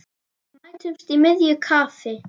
Mætumst í miðju kafi.